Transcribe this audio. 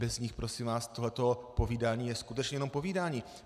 Bez nich, prosím vás, tohle povídání je skutečně jenom povídání.